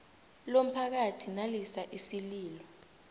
lomphakathi nalisa isililo